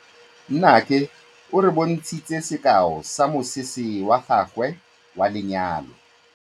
Nnake o re bontshitse sekaô sa mosese wa gagwe wa lenyalo.